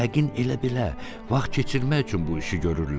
Yəqin elə-belə vaxt keçirmək üçün bu işi görürlər.